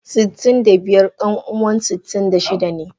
Sitin da biyar kanuwan sitin da shida ne.